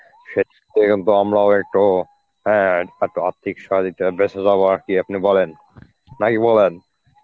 সে ওই জন্য আমরাও একটু হ্যাঁ আরেকটু আর্থিক সহযোগিতা বেঁচে যাব আর কি আপনি বলেন, নাকি বলেন.